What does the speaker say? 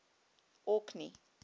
orkney